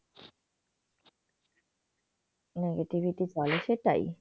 negativity বলে সেটাই